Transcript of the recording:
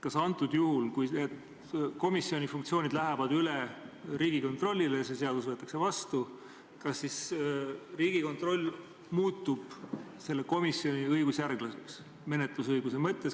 Kas juhul, kui need komisjoni funktsioonid lähevad üle Riigikontrollile ja see seadus võetakse vastu, muutub Riigikontroll selle komisjoni õigusjärglaseks?